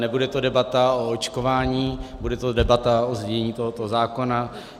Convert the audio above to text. Nebude to debata o očkování, bude to debata o znění tohoto zákona.